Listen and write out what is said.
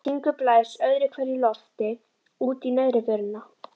Hringur blæs öðru hverju lofti út í neðri vörina.